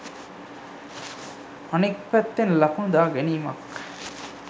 අනික් පැත්තෙන් ලකුණු දා ගැනීමක්